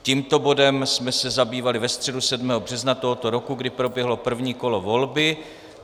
Tímto bodem jsme se zabývali ve středu 7. března tohoto roku, kdy proběhlo první kolo volby.